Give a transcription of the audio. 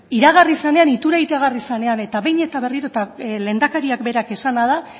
iragarri zenean ituna iragarri zenean eta behin eta berriro lehendakariak berak esana da